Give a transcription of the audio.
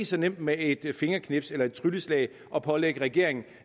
så nemt med et fingerknips eller et trylleslag at pålægge regeringen